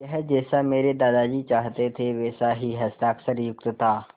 यह जैसा मेरे दादाजी चाहते थे वैसा ही हस्ताक्षरयुक्त था